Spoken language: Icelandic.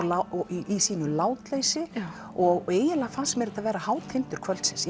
í sínu látleysi og eiginlega fannst mér þetta vera hátindur kvöldsins